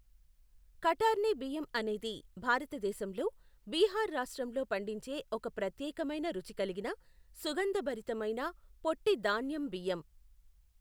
కటార్ని బియ్యం అనేది భారతదేశంలో, బీహార్ రాష్ట్రంలో పండించే ఒక ప్రత్యేకమైన రుచి కలిగిన, సుగంధభరితమైన, పొట్టి ధాన్యం బియ్యం.